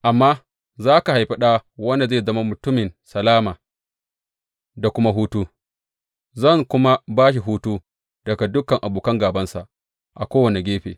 Amma za ka haifi ɗa wanda zai zama mutumin salama da kuma hutu, zan kuma ba shi hutu daga dukan abokan gābansa a kowane gefe.